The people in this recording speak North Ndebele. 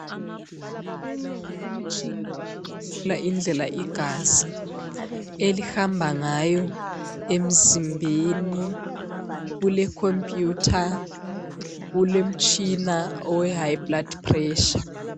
Umtshina okuhlola indlela igazi elihamba ngayo emzimbeni, kulekhomputha, kulomtshina we high blood pressure.